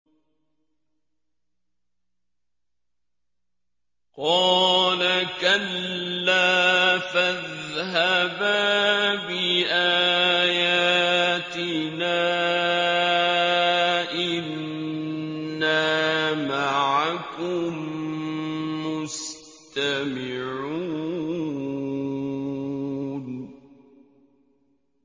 قَالَ كَلَّا ۖ فَاذْهَبَا بِآيَاتِنَا ۖ إِنَّا مَعَكُم مُّسْتَمِعُونَ